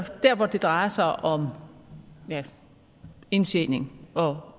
der hvor det drejer sig om indtjening og